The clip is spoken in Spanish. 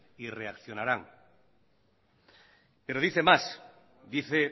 y reaccionarán pero dice más dice